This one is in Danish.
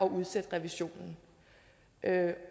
at udsætte revisionen